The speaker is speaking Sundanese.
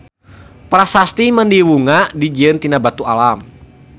Prasasti Mandiwunga dijieun tina batu alam.